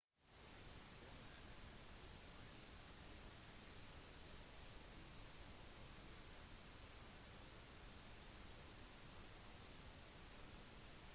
goma er en turistby i den demokratiske republikken kongo og ligger i øst i nærheten av rwanda